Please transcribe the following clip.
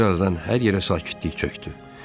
Bir azdan hər yerə sakitlik çökdü.